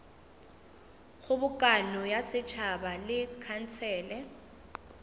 kgobokano ya setšhaba le khansele